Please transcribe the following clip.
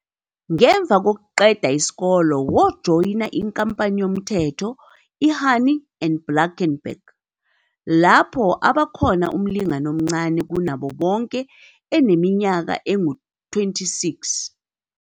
Ngemva kokuqeda isikole, wajoyina inkampani yoMthetho i-Honey and Blackenberg, lapho aba khona umlingani omncane kunabo bonke eneminyaka engu-26.